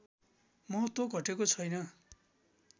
महत्त्व घटेको छैन